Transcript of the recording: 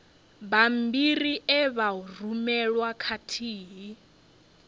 bammbiri e vha rumelwa khathihi